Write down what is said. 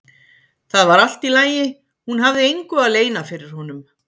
Það var allt í lagi, hún hafði engu að leyna fyrir honum.